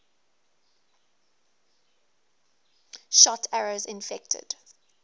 shot arrows infected